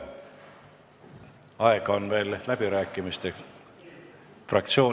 Määran eelnõu 737 muudatusettepanekute esitamise tähtajaks 19. detsembri kell 16.